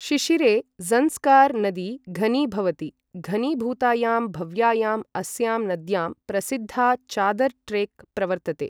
शिशिरे ज़ंस्कार् नदी घनीभवति, घनीभूतायाम् भव्यायाम् अस्यां नद्यां प्रसिद्धा चादर् ट्रेक् प्रवर्तते।